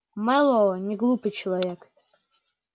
мэллоу неглупый человек